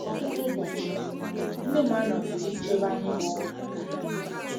Ọtụtụ ụbọchị, nne m anọghị ya ichebe anyị bụ́ ụmụaka.